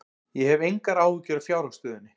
Ég hef engar áhyggjur af fjárhagsstöðunni.